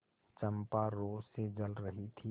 चंपा रोष से जल रही थी